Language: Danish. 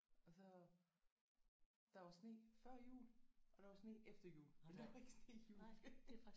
Og så der var sne før jul og der var sne efter jul men der var ikke sne i juledagene